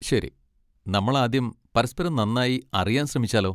ശരി, നമ്മൾ ആദ്യം പരസ്പരം നന്നായി അറിയാൻ ശ്രമിച്ചാലോ?